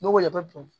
N'o le bɛ bɔn